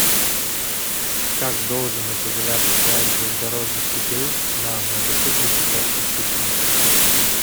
как должен определяться класс железнодорожных путей на многопутных участках пути